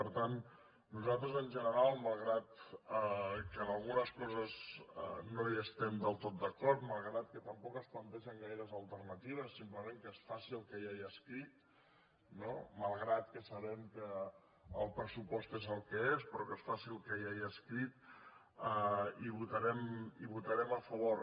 per tant nosaltres en general malgrat que en algunes coses no hi estem del tot d’acord malgrat que tampoc es plantegen gaires alternatives simplement que es faci el que ja hi ha escrit no malgrat que sabem que el pressupost és el que és però que es faci el que ja hi ha escrit hi votarem a favor